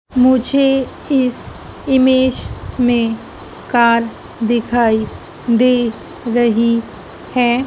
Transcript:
मुझे इस इमेज में कार दिखाई दे रही है।